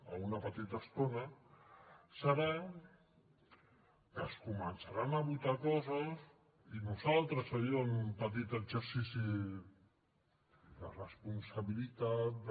a una petita estona serà que es començaran a votar coses i nosaltres ahir en un petit exercici de responsabilitat de